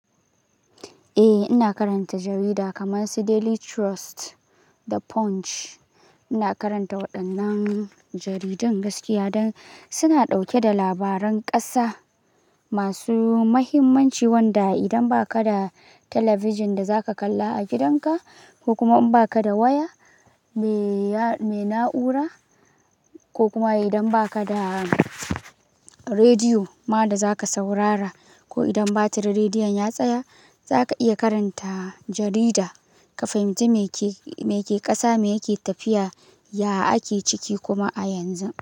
Eh, ina karanta jarida kamar su Daily Trust da Punch. Ina karanta waɗannan jaridun gaskiya don suna ɗauke da labaran ƙasa masu muhimmanci, wanda idan ba ka da talabijin da za ka kalla a gidanka ko kuma in ba ka da waya mai na'ura, ko kuma idan ba ka da rediyo ma da za ka saurara, ko idan batir rediyon ya tsaya, za ka iya karanta jarida ka fahimci me ke ƙasa, me yake tafiya, ya ake ciki kuma a yanzu.